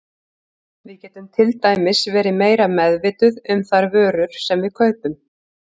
Við getum til dæmis verið meira meðvituð um þær vörur sem við kaupum.